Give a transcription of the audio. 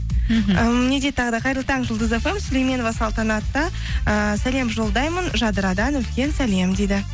ммх не дейді тағы да қайырлы таң жұлдыз фм сүйлеменова салтанатқа ііі сәлем жолдаймын жадырадан үлкен сәлем дейді